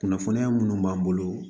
Kunnafoniya minnu b'an bolo